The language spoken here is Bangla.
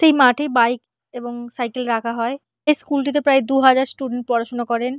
সেই মাঠে বাইক এবং সাইকেল রাখা হয়। এই স্কুল -টিতে প্রায় দু হাজার স্টুডেন্ট পড়াশোনা করেন।